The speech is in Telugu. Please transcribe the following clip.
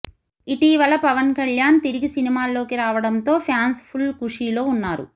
ఇటీవల పవన్ కళ్యాణ్ తిరిగి సినిమాల్లోకి రావడంతో ఫ్యాన్స్ ఫుల్ ఖుషీలో ఉన్నారు